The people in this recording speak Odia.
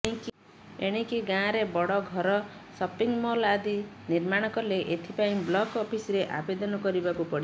ଏଣିକି ଗାଁରେ ବଡ ଘର ସପିଂ ମଲ ଆଦି ନିର୍ମାଣକଲେ ଏଥିପାଇଁ ବ୍ଲକ ଅଫିସରେ ଆବେଦନ କରିବାକୁ ପଡିବ